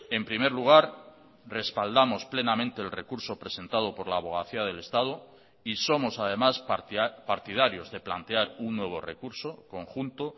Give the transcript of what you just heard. en primer lugar respaldamos plenamente el recurso presentado por la abogacía del estado y somos además partidarios de plantear un nuevo recurso conjunto